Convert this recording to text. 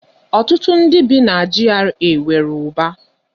Ọtụtụ n'ime ndị bi na GRA nwere ụba.